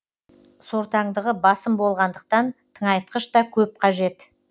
сортаңдығы басым болғандықтан тыңайтқыш та көп қажет